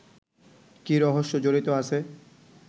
কী রহস্য জড়িত আছে